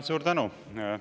Suur tänu!